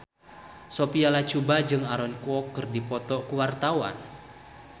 Sophia Latjuba jeung Aaron Kwok keur dipoto ku wartawan